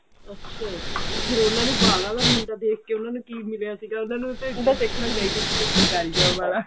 ਅੱਛਾ ਤੇ ਫੇਰ ਉਹਨਾ ਨੇ ਬਾਹਰ ਆਲਾ ਮੁੰਡਾ ਦੇਖ ਕਿ ਉਹਨਾ ਨੂੰ ਕੀ ਮਿਲਿਆ ਸੀਗਾ ਉਹਨਾ ਨੂੰ ਤੇ ਮੁੰਡਾ ਦੇਖਣਾ ਚਾਹੀਦਾ ਸੀ ਕੋਈ ਸਰਕਾਰੀ job ਵਾਲਾ